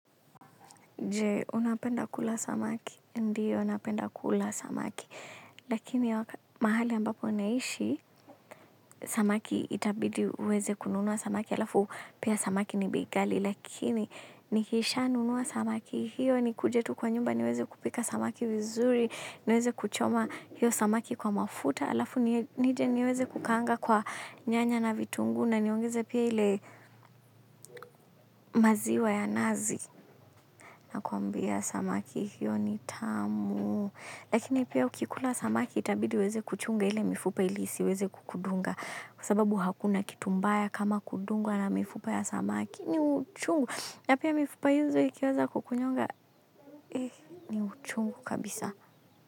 Je unapenda kula samaki, ndiyo napenda kula samaki. Lakini mahali ambapo naishi, samaki itabidi uweze kununuwa samaki. Alafu pia samaki ni bei ghali, lakini nikisha nunua samaki hiyo nikuje tu kwa nyumba niweze kupika samaki vizuri, niweze kuchoma hiyo samaki kwa mafuta, alafu nije niweze kukanga kwa nyanya na vitungu na niongeze pia ile maziwa ya nazi. Na kuambia samaki hiyo ni tamu, lakini pia ukikula samaki itabidi uweze kuchunga ile mifupa ili isiweze kukudunga kwa sababu hakuna kitu mbaya kama kudungwa na mifupa ya samaki ni uchungu, na pia mifupa hizo ikiweza kukunyonga, ni uchungu kabisa.